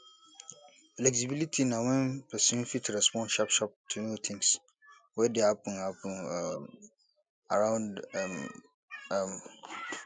fexibility na wen persin fit respond sharp sharp to new things wey dey happen happen um around um am